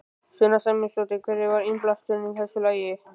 Sunna Sæmundsdóttir: Hver var innblásturinn að þessu lagi?